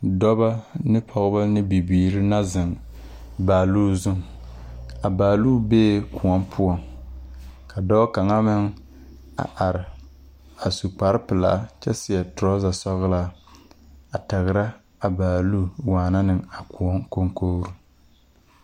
Dɔbɔ ne pɔgeba ne bibiiri na zeŋ a baaloo zuŋ a baaloo bee kõɔ poɔ ka dɔɔ kaŋa meŋ a are a su kparpelaa kyɛ seɛ torazasɔglaa a tagera a baaloo waana ne a kõɔ koŋkori.